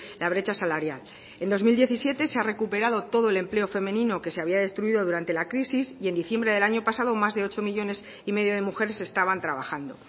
la brecha salarial en dos mil diecisiete se ha recuperado todo el empleo femenino que se había destruido durante la crisis y en diciembre del año pasado más de ocho millónes y medio de mujeres estaban trabajando